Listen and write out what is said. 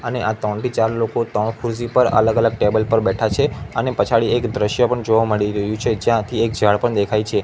અને આ ત્રણથી ચાર લોકો ત્રણ ખુરસી પર અલગ અલગ ટેબલ પર બેઠા છે અને પછાડી એક દ્રશ્ય પણ જોવા મળી રહ્યું છે જ્યાંથી એક ઝાડ પણ દેખાય છે.